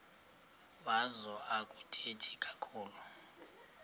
wazo akathethi kakhulu